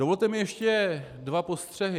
Dovolte mi ještě dva postřehy.